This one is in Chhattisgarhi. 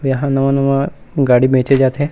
यहाँ नवा-नवा गाड़ी बेचे जाथे--